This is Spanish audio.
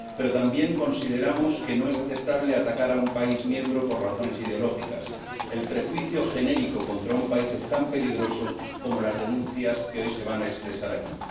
Pero también consideramos que no es aceptable atacar a un país miembro por razones ideológicas el prejuicio genérico contra un país es tan peligroso como las denuncias que hoy se van a expresar aquí.